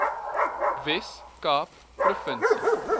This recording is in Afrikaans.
wes kaap provinsie